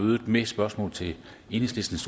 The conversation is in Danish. mødet med spørgsmål til enhedslistens